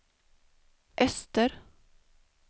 öster